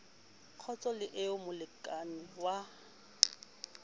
kgotso le eo molekane wa